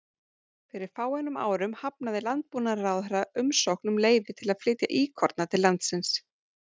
Fyrir fáeinum árum hafnaði landbúnaðarráðherra umsókn um leyfi til að flytja íkorna til landsins.